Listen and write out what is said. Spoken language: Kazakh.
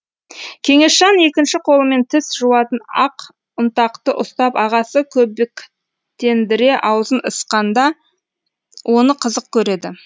кеңесжан екінші қолымен тіс жуатын ақ ұнтақты ұстап ағасы көбіктендіре аузын ысқанда оны қызық көреді